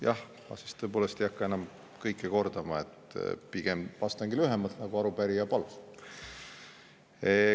Jah, ma ei hakka enam kõike kordama, pigem vastangi lühemalt, nagu arupärija palus.